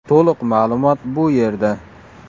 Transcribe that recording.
To‘liq ma’lumot bu yerda .